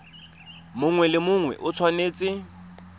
mongwe le mongwe o tshwanetse